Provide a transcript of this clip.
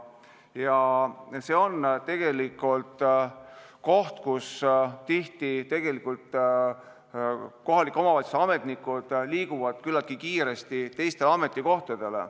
Ja nii ongi, et tihti kohalike omavalitsuste ametnikud liiguvad küllaltki kiiresti teistele ametikohtadele.